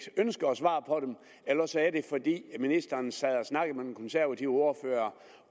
ønsker at svare på dem eller også er det fordi ministeren sad og snakkede med den konservative ordfører